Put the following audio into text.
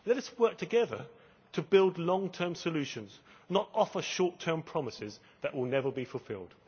Let us work together to build long term solutions, not offer short term promises that will never be fulfilled.